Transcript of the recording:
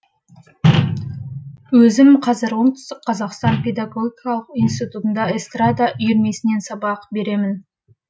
өзім қазір оңтүстік қазақстан педагогикалық институтында эстрада үйірмесінен сабақ беремін